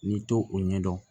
N'i to o ɲɛdɔn